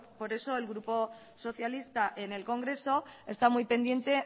por eso el grupo socialista en el congreso está muy pendiente